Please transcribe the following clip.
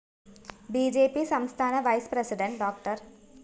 B J P സംസ്ഥാന vice president ഡോ